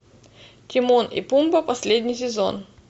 тимон и пумба последний сезон